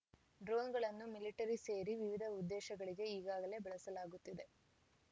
ಡ್ರೋನ್‌ಗಳನ್ನು military ಸೇರಿ ವಿವಿಧ ಉದ್ದೇಶಗಳಿಗೆ ಈಗಾಗಲೇ ಬಳಸಲಾಗುತ್ತಿದೆ